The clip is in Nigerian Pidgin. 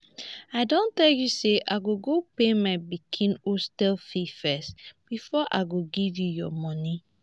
i don tell you say i go go pay my pikin hostel fees first before i go give you your money